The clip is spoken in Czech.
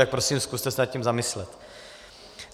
Tak prosím, zkuste se nad tím zamyslet.